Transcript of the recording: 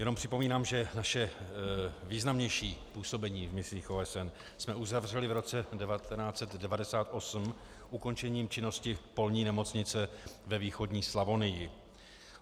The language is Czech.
Jenom připomínám, že naše významnější působení v misích OSN jsme uzavřeli v roce 1998 ukončením činnosti polní nemocnice ve východní Slavonii.